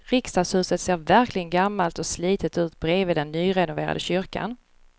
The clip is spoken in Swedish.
Riksdagshuset ser verkligen gammalt och slitet ut bredvid den nyrenoverade kyrkan.